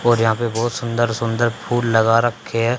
और यहां पे बहोत सुंदर सुंदर फूल लगा रखे हैं।